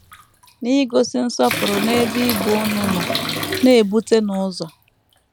N’igosi nsọpụrụ n’ebe ibe unu nọ, na - ebutenụ ụzọ. ”